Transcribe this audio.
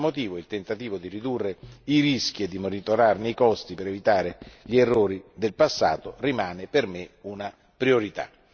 Per questo motivo, il tentativo di ridurre i rischi e di monitorarne i costi per evitare gli errori del passato rimane per me una priorità.